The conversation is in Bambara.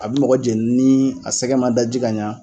A bɛ mɔgɔ jeni ni a sɛgɛ man daji ka ɲa.